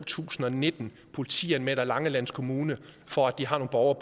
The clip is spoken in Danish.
tusind og nitten politianmelder langeland kommune for at de har nogle borgere